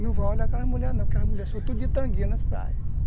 Não vai olhar aquela mulher não, porque as mulheres são tudo de tanguinha nas praias.